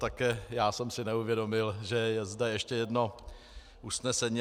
Také já jsem si neuvědomil, že je zde ještě jedno usnesení.